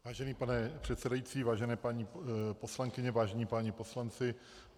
Vážený pane předsedající, vážené paní poslankyně, vážení páni poslanci.